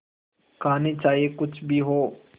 कहानी चाहे कुछ भी हो